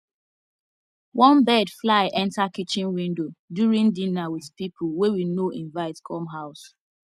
one bird fly enter kitchen window during dinner with people wey we no invite come house